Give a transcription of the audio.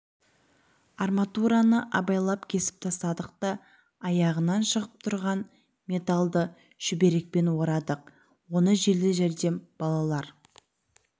арматураны абайлап кесі тастадық та аяғынан шығып тұрған металлды шүберекпен орадық оны жедел жәрдем балалар